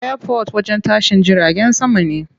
Airport wajen tashin jiragen sama ne.